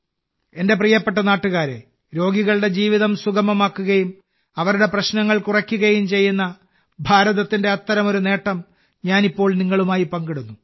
എന്റെ പ്രിയപ്പെട്ട നാട്ടുകാരേ രോഗികളുടെ ജീവിതം സുഗമമാക്കുകയും അവരുടെ പ്രശ്നങ്ങൾ കുറയ്ക്കുകയും ചെയ്യുന്ന ഭാരതത്തിന്റെ അത്തരമൊരു നേട്ടം ഞാൻ ഇപ്പോൾ നിങ്ങളുമായി പങ്കിടുന്നു